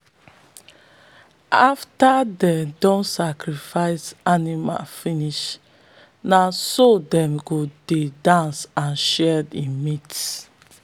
afta them don sacrifice animal finish na so them go dey dance and share the meat.